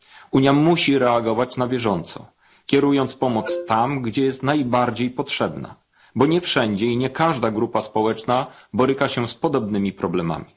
Unia musi reagować na bieżąco, kierując pomoc tam, gdzie jest najbardziej potrzebna, bo nie wszędzie i nie każda grupa społeczna boryka się z podobnymi problemami.